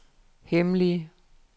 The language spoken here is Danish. hemmelige